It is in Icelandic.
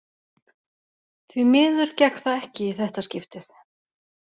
Því miður gekk það ekki í þetta skiptið.